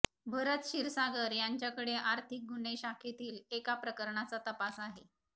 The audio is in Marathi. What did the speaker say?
भरत क्षीरसागर यांच्याकडे आर्थिक गुन्हेशाखेतील एका प्रकरणाचा तपास आहे